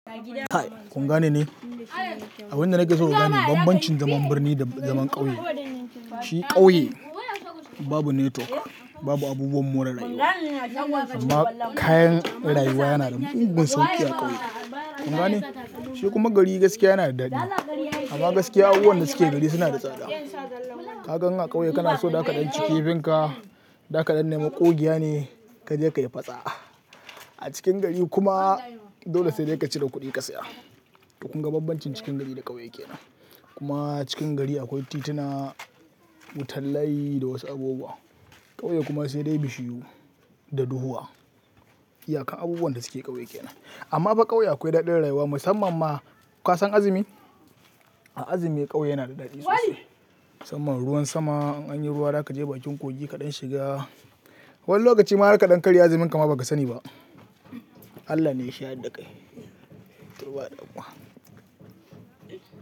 Kai, kungane ne. Abunda nake so in gane bambancin zaman birni da zaman ƙauye. Shi ƙauye babu netwok, babu abubuwan more rayuwa, amma kayan rayuwa yana da unguwar sauƙi a ƙauye. Kungane? Shi kuma gari gaskiya yana da dadi amma gaskiya abubuwan da suke gari suna da tsada. Kakan a ƙauye kana so dakadan ciki finka, dakadan nema kogiya ne kaje ka yi fatsa. A cikin gari kuma dole sai dai ka cire kuɗi ka saya. Dukun bambancin cikin gari da ƙauye yake nan. Kuma cikin gari akwai tituna, wutan layi da wasu abubuwa. Ƙauye kuma sai dai bishiyu da duhuwa. Haka abubuwan da suke ƙauye yake nan. Amma fa ƙauye akwai daɗin rayuwa musamman ma ka san azumi? A azumi ƙauye yana da dadi sosai. Samman ruwan sama, anyi ruwa zaka je bakin kogi kaɗan shiga. Wani lokaci ma har ka dankali azumin ka ma baka sani ba. Allah ne ya shaɗi kai. Turawa da Allah.